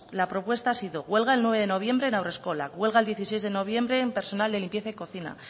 la propuesta ha sido huelga el nueve de noviembre en haurreskola huelga el dieciséis de noviembre el personal de limpieza y cocina